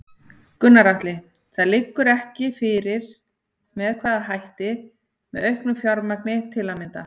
Gunnar Atli: Það liggur ekki fyrir með hvaða hætti, með auknu fjármagn til að mynda?